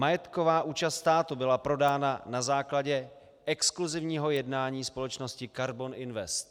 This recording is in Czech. Majetková účast státu byla prodána na základě exkluzivního jednání společnosti Karbon Invest.